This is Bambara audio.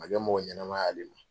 man kɛ mɔgɔ ɲɛnama ye ale ma.